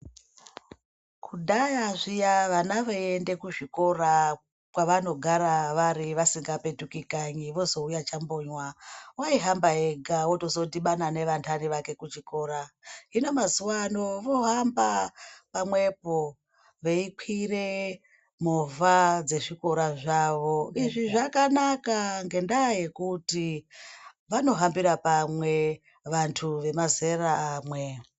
Kudhaya zviya vana veiende kuzvikora kwavanogara vari vasingapetuki kanyi vozouya chambonywa waihamba ega otozodhibana nevantani vake kuchikora hino mazuwa ano vohamba pamwepo veikwire movha dzezvikora zvavo izvi zvakanaka ngekuti vanohambira pamwe vantu vemazera amwe.